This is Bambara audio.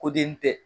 Ko den tɛ